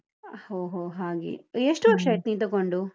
ಹೋ ಹೋ ಹಾಗೆ, ಎಷ್ಟು ವರ್ಷ ಆಯ್ತು ನೀನ್ ತಕೊಂಡು?